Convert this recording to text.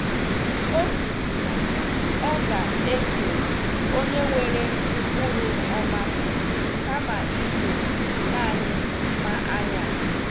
O kwuru na ọ ga-eso onye nwere ụkpụrụ ọma kama iso naanị mma anya